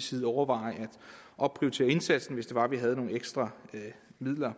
side overveje at opprioritere indsatsen hvis det var vi havde nogle ekstra midler